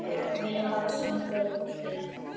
Þeir vilja hafa sinn gaur.